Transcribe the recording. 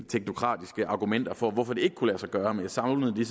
teknokratiske argumenter for hvorfor det ikke kunne lade sig gøre men jeg savnede